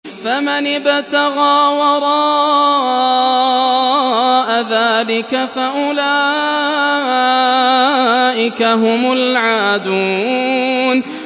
فَمَنِ ابْتَغَىٰ وَرَاءَ ذَٰلِكَ فَأُولَٰئِكَ هُمُ الْعَادُونَ